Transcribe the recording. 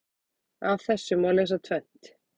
Af þessu má lesa tvennt.